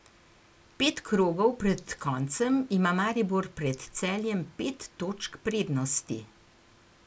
Pet krogov pred koncem ima Maribor pred Celjem pet točk prednosti.